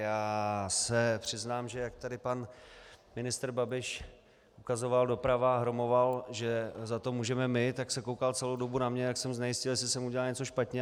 Já se přiznám, že jak tady pan ministr Babiš ukazoval doprava a hromoval, že za to můžeme my, tak se koukal celou dobu na mě, tak jsem znejistěl, jestli jsem udělal něco špatně.